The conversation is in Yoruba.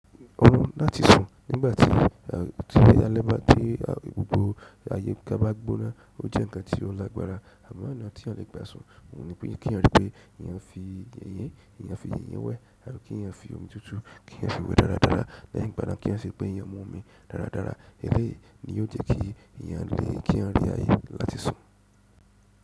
Oòrùlún láti sùn nígbà tí alẹ́ bá dé, tí gbogbo àyíká bá gbóná ó jẹ́ ǹkan tí ó lágbára, amọ ọnà tí èèyàn lè gbà sun òun ní pé kí èèyàn rí pé èèyàn fi yìnyín, èèyàn fi yìnyín wẹ, àbí kí èèyàn fi omi tútù, kí èèyàn fiwẹ̀ dáradára, lẹ́yìn ìgbà náà kí èèyàn rí pé èèyán mu omi dáradára, eléyìí ni ó jẹ́ kí èèyán lè kí a rí àyè láti sùn.